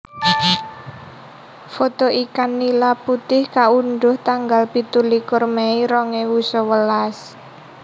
Foto ikan nila putih kaundhuh tanggal pitulikur mei rong ewu sewelas